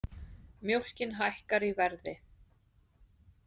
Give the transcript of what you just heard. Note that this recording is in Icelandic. Mjólkin hækkar í verði